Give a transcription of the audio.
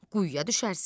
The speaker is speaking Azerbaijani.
Quyuya düşərsən.